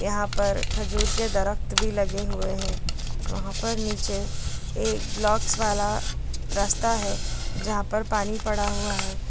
यहां पर खजूर के दरख़्त भी लगे हुए हैं वहां पर नीचे एक ब्लॉक्स वाला रस्ता है जहां पर पानी पड़ा हुआ है।